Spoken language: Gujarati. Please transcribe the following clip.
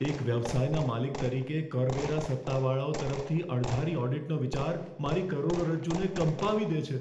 એક વ્યવસાયના માલિક તરીકે, કરવેરા સત્તાવાળાઓ તરફથી અણધારી ઓડિટનો વિચાર મારી કરોડરજ્જુને કંપાવી દે છે.